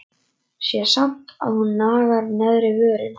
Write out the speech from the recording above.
Sé samt að hún nagar neðri vörina.